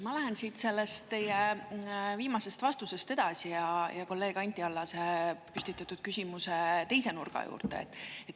Ma lähen siit sellest teie viimasest vastusest edasi ja kolleeg Anti Allase püstitatud küsimuse teise nurga juurde.